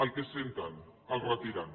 el que senten els retiren